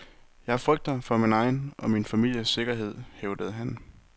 Jeg frygter for min egen og min families sikkerhed, hævdede han.